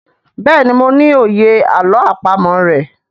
béèni mo ní òye àlọ́ àpamọ̀ rẹ.